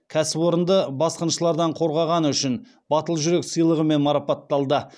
кәсіпорынды басқыншылардан қорғағаны үшін батыл жүрек сыйлығымен марапатталды